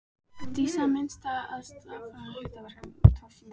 Dísu að minnast á aðfarirnar á hlaðinu í Torfgarði.